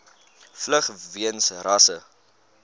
vlug weens rasse